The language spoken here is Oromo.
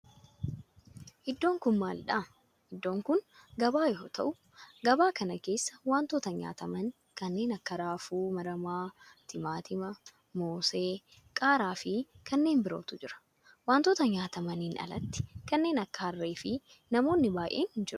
Iddoon kun maalidha? Iddoon kun gabaa yoo ta'u gabaa kana keessa wantoota nyaataman kanneen akka raafuu maramaa, timaatima, moosee, qaaraa fi kanneen birootu jira. Wantoota nyaatamaniin alatti kanneen akka harree fi namoonni baayyeen jiru.